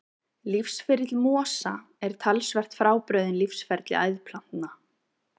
Lífsferill mosa er talsvert frábrugðinn lífsferli æðplantna.